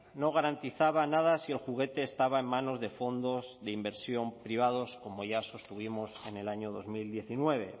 no garantizaba nada si el juguete estaba en manos de fondos de inversión privados como ya sostuvimos en el año dos mil diecinueve